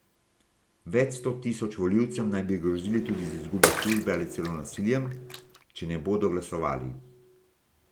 Več sto tisoč volivcem naj bi grozili tudi z izgubo službe ali celo nasiljem, če ne bodo glasovali.